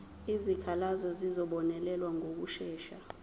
izikhalazo zizobonelelwa ngokushesha